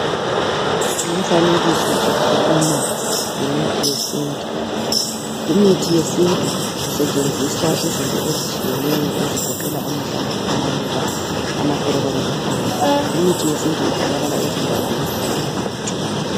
Lumfanekiso ukhuluma ngemithi yesintu, kumithi yesintu kusetshenziswa izinto ezitshiyeneyo ezigoqela amahlamvu, amaluba, amaxolo kanye lempande. Imithi yesintu itholakala ezindaweni okuhlala abantu.